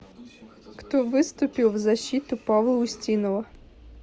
кто выступил в защиту павла устинова